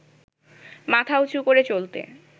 মাথা উচু করে চলতে